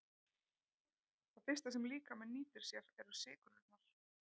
Það fyrsta sem líkaminn nýtir sér eru sykrurnar.